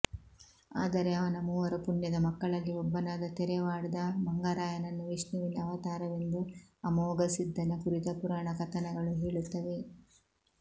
ಆದರೆ ಅವನ ಮೂವರು ಪುಣ್ಯದ ಮಕ್ಕಳಲ್ಲಿ ಒಬ್ಬನಾದ ತೆರೆವಾಡದ ಮಂಗರಾಯನನ್ನು ವಿಷ್ಣುವಿನ ಅವತಾರವೆಂದು ಅಮೋಘಸಿದ್ಧನ ಕುರಿತ ಪುರಾಣ ಕಥನಗಳು ಹೇಳುತ್ತವೆ